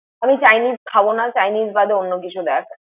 আমি chinese খাবনা। chinese বাদে অনন্য কিছু দেখ।